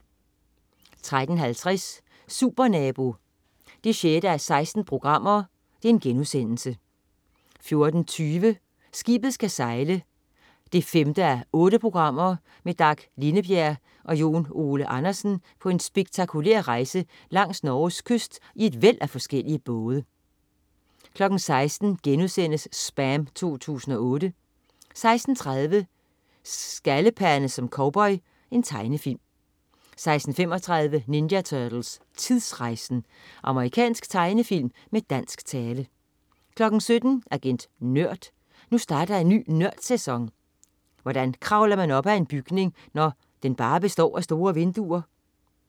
13.50 Supernabo 6:16* 14.20 Skibet skal sejle 5:8. Med Dag Lindebjerg og Jon Ole Andersen på en spektakulær rejse langs Norges kyst i et væld af forskellige både 16.00 SPAM 2008* 16.30 Skaldepande som cowboy. Tegnefilm 16.35 Ninja Turtles: Tidsrejsen! Amerikansk tegnefilm med dansk tale 17.00 Agent Nørd. Nu starter en ny Nørd-sæson! Hvordan kravler man op ad en bygning, når den bare består af store vinduer?